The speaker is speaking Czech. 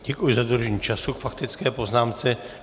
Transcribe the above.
Děkuji za dodržení času k faktické poznámce.